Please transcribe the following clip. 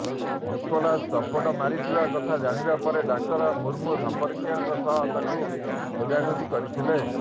Nicholas ଚମ୍ପଟ ମାରିଥିବା କଥା ଜାଣିବା ପରେ ଡାକ୍ତର ମୁର୍ମୁ ସଂପର୍କୀୟଙ୍କ ସହ ତାକୁ ଖୋଜାଖୋଜି କରିଥିଲେ